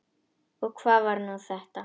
Og hvað var nú þetta!